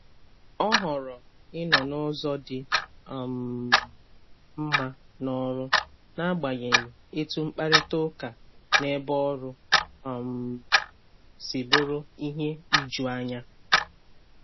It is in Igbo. Ọ họ̀rọ̀ ịnọ n’ụ̀zọ di um mma n'ọ̀rụ̀, n’agbanyeghị etu mkparịta ụka n’ebe ọrụ um sì bụrụ ihe ijuanya.